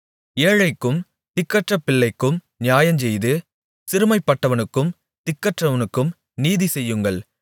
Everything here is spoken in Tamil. ஏழைக்கும் திக்கற்றபிள்ளைக்கும் நியாயஞ்செய்து சிறுமைப்பட்டவனுக்கும் திக்கற்றவனுக்கும் நீதி செய்யுங்கள்